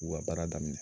U ka baara daminɛ